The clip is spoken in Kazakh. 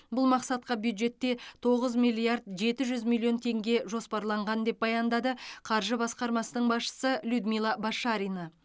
бұл мақсатқа бюджетте тоғыз миллиард жеті жүз миллион теңге жоспарланған деп баяндады қаржы басқармасының басшысы людмила башарина